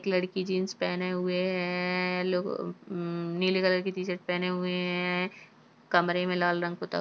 एक लड़की जीन्स पहने हुए है-है-है-है-है लोग म-म-म-म नील कलर की टीशर्ट पहने हुए हैं-हैं-हैं-हैं कमरे में लाल रंग पुता --